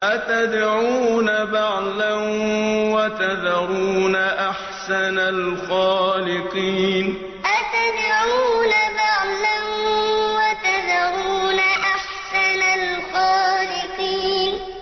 أَتَدْعُونَ بَعْلًا وَتَذَرُونَ أَحْسَنَ الْخَالِقِينَ أَتَدْعُونَ بَعْلًا وَتَذَرُونَ أَحْسَنَ الْخَالِقِينَ